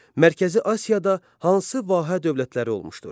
Mərkəzi Asiyada hansı vahə dövlətləri olmuşdur?